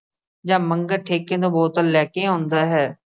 ਜਦ ਮੰਗਤਾ ਠੇਕੇ ਤੋਂ ਬੋਤਲ ਲੈ ਕੇ ਆਉਂਦਾ ਹੈ।